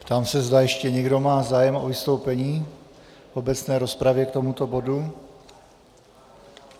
Ptám se, zda ještě někdo má zájem o vystoupení v obecné rozpravě k tomuto bodu.